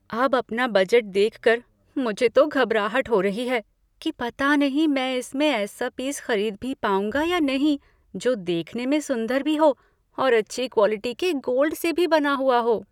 अब अपना बजट देखकर मुझे तो घबराहट हो रही है कि पता नहीं मैं इसमें ऐसा पीस खरीद भी पाऊंगा या नहीं जो देखने में सुंदर भी हो और अच्छी क्वालिटी के गोल्ड से भी बना हुआ हो।